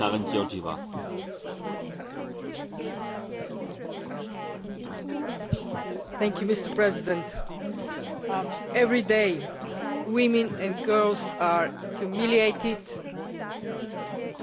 Mr President, every day women and girls are humiliated, beaten, sexually abused, and killed only because they are women